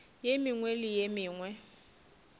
ye mengwe le ye mengwe